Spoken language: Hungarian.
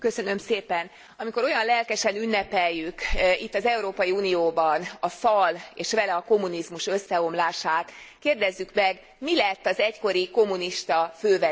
Amikor olyan lelkesen ünnepeljük itt, az Európai Unióban a fal és vele a kommunizmus összeomlását, kérdezzük meg, mi lett az egykori kommunista fővezérekkel?